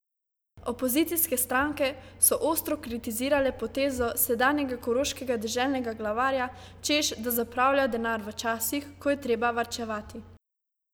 Opozicijske stranke so ostro kritizirale potezo sedanjega koroškega deželnega glavarja, češ da zapravlja denar v časih, ko je treba varčevati.